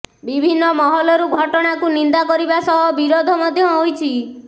ବିଭିନ୍ନ ମହଲରୁ ଘଟଣାକୁ ନିନ୍ଦା କରିବା ସହ ବିରୋଧ ମଧ୍ୟ ହୋଇଛି